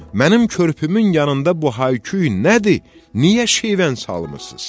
Mənim körpümün yanında bu hayküy nədir, niyə şivən salmısız?